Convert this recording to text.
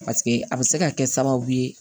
Paseke a bɛ se ka kɛ sababu ye